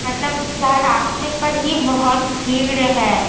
मतलब यह रास्ते पर ही बहोत भीड़ है।